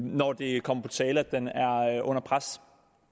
når det kommer på tale at den er under pres